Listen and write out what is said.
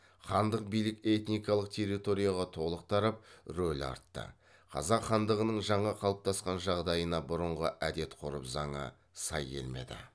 хандық билік этникалық территорияға толық тарап рөлі артты қазақ хандығының жаңа қалыптасқан жағдайына бұрынғы әдет ғұрып заңы сай келмейді